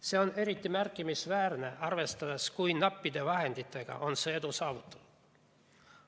See on eriti märkimisväärne, arvestades, kui nappide vahenditega on see edu saavutanud.